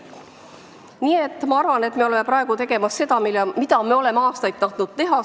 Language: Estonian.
Nii et ma arvan, et me oleme praegu tegemas seda, mida me oleme aastaid tahtnud teha.